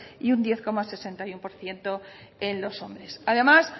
y un diez coma sesenta y uno por ciento en los hombres además